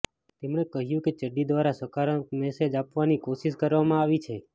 તેમણે કહ્યું કે ચડ્ડી દ્રારા સકારાત્મક મેસેજ આપવાની કોશિશ કરવામાં આવી છે